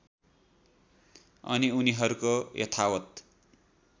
अनि उनीहरूको यथावत्